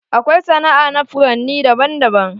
Akwai sana'a na furanni daban daban.